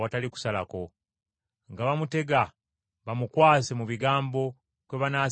nga bamutega bamukwase mu bigambo kwe banaasinziira okumukwata.